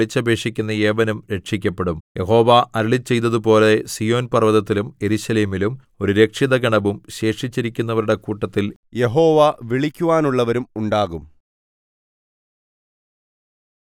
എന്നാൽ യഹോവയുടെ നാമം വിളിച്ചപേക്ഷിക്കുന്ന ഏവനും രക്ഷിക്കപ്പെടും യഹോവ അരുളിച്ചെയ്തതുപോലെ സീയോൻ പർവ്വതത്തിലും യെരൂശലേമിലും ഒരു രക്ഷിതഗണവും ശേഷിച്ചിരിക്കുന്നവരുടെ കൂട്ടത്തിൽ യഹോവ വിളിക്കുവാനുള്ളവരും ഉണ്ടാകും